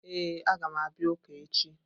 Ee, a ga m abia uka echi.